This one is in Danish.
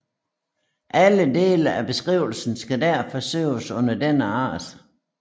Alle dele af beskrivelsen skal derfor søges under denne art